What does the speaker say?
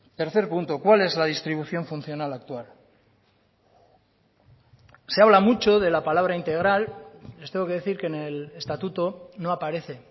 tercer punto cuál es la distribución funcional actual se habla mucho de la palabra integral les tengo que decir que en el estatuto no aparece